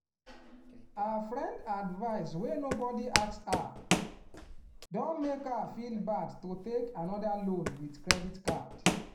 her friend advice wey nobody ask her don make her feel bad to take another loan with credit card